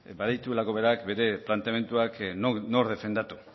badituelako berak bere planteamenduak nork defendatu